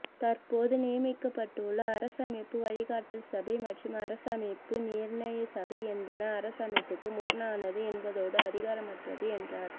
தற்போது நியமிக்கப்பட்டுள்ள அரசமைப்பு வழிகாட்டல்சபை மற்றும் அரசமைப்பு நிர்ணயசபை என்பன அரசமைப்புக்கு முரணானது என்பதோடு அதிகாரமற்றது என்றார்